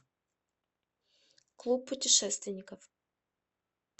клуб путешественников